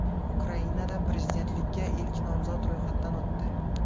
Ukrainada prezidentlikka ilk nomzod ro‘yxatdan o‘tdi.